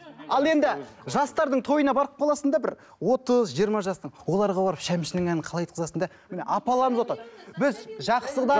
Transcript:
ал енді жастардың тойына барып қаласың да бір отыз жиырма жастың оларға барып шәмшінің әнін қалай айтқызасың да міне апаларымыз отыр біз жақсыдан